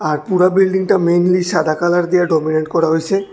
আর পুরা বিল্ডিংটা মেনলি সাদা কালার দিয়ে ডমিনেন্ট করা হইসে।